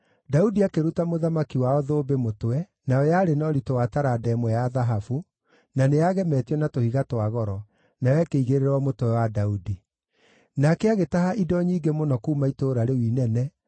Daudi akĩruta mũthamaki wao thũmbĩ mũtwe, nayo yarĩ na ũritũ wa taranda ĩmwe ya thahabu, na nĩyagemetio na tũhiga twa goro, nayo ĩkĩigĩrĩrwo mũtwe wa Daudi. Nake agĩtaha indo nyingĩ mũno kuuma itũũra rĩu inene,